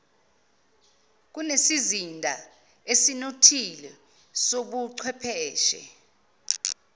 kunesizinda esinothile sobuchwepheshe